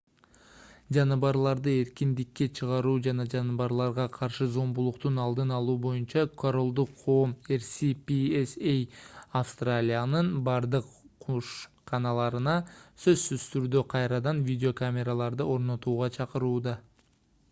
жаныбарларды эркиндикке чыгаруу жана жаныбарларга каршы зомбулуктун алдын алуу боюнча королдук коом rspca австралиянын бардык кушканаларына сөзсүз түрдө кайрадан видеокамераларды орнотууга чакырууда